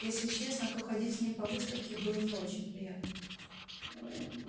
если честно то ходить с ним по выставке было не очень приятно